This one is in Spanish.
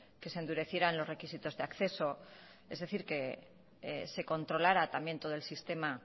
que se endurecieran los requisitos de acceso es decir que se controlara también todo el sistema